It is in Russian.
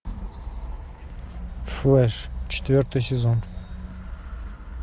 флэш четвертый сезон